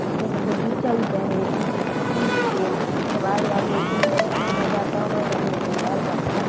बगीचा उइचा है बीच में फूल -ऊल है जमाई यार मजा आ जाता होगा जाने दो यार--